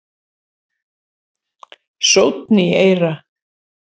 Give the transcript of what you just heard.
Sónn í eyra